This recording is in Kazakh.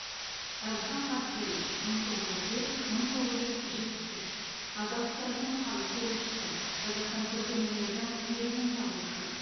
әбілхан қастеев мың тоғыз жүз төрт мың тоғыз жүз жетпіс үш қазақ сср нің халық суретшісі қазақстан көркемөнерінің негізін салушы